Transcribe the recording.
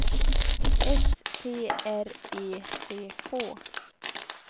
S T R E C K